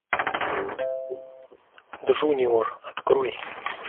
джуниор открой